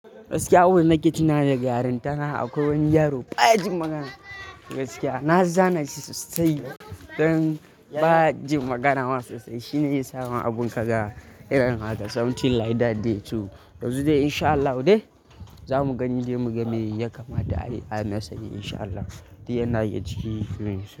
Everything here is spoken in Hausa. Gaskiya a wurin da nake tuna da gyaran tana akwai wani yaro ba jin magana. Gaskiya na zane shi sosai. Don ba jin magana masa sai shine ya samu abin ƙaga. Something like that day two. Yanzu dai in sha Allah, zamu gani dai mu gane ya kamata ayi ana sani in sha Allah. Duk yana yake ciki.